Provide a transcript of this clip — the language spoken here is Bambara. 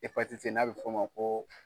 Hepatiti n'a bɛ fɔ' ma ko.